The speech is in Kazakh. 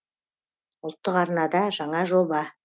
ұлттық арнада жаңа жоба